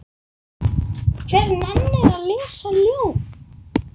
Hver nennir að lesa ljóð?